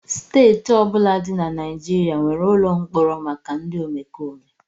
Steeti ọ bụla dị na Naịjirịa nwere ụlọ mkpọrọ maka ndị omekome